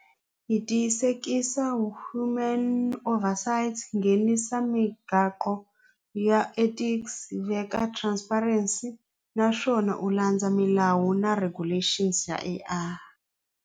Hi tiyisekisa human over sights nghenisa ya ethics hi veka transparency naswona u landza milawu na regulations ya A_I.